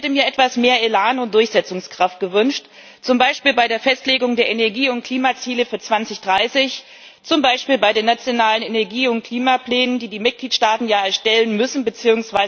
Ich hätte mir etwas mehr Elan und Durchsetzungskraft gewünscht, zum Beispiel bei der Festlegung der Energie und Klimaziele für 2030, zum Beispiel bei den nationalen Energie und Klimaplänen, die die Mitgliedstaaten ja erstellen müssen bzw.